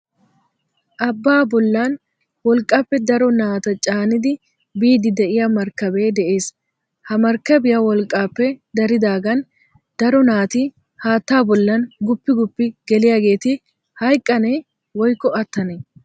Abba bollan wolqqappe daro naata caannidi biidi de'iyaa markkabee de'ees Ha markkabiya wolqqaappe daridaagan daro naati haatta bollan guppi guppi geliyageeti hayqqane woykko attanee?